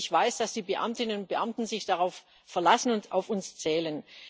Ich weiß, dass die Beamtinnen und Beamten sich darauf verlassen und auf uns zählen.